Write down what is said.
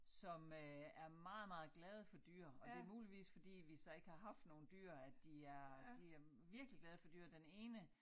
Som øh er meget meget glade for dyr og det muligvis fordi vi så ikke har haft nogen dyr at de er de er virkelig glade for dyr den ene